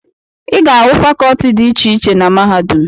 Ị ga-ahụ fakọọti dị iche iche na mahadum.